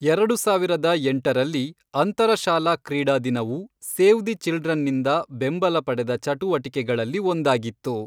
ಎರಡು ಸಾವಿರದ ಎಂಟರಲ್ಲಿ, ಅಂತರಶಾಲಾ ಕ್ರೀಡಾ ದಿನವು ಸೇವ್ ದಿ ಚಿಲ್ಡ್ರನ್ನಿಂದ ಬೆಂಬಲ ಪಡೆದ ಚಟುವಟಿಕೆಗಳಲ್ಲಿ ಒಂದಾಗಿತ್ತು.